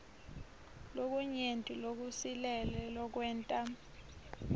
lokunyenti lokusilele lokwenta